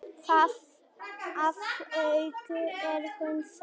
Þar að auki er hún sæt.